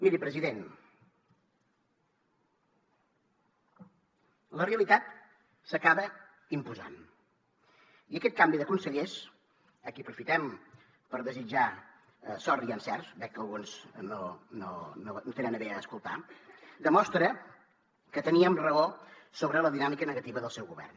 miri president la realitat s’acaba imposant i aquest canvi de consellers a qui aprofitem per desitjar sort i encerts veig que alguns no tenen a bé escoltar demostra que teníem raó sobre la dinàmica negativa del seu govern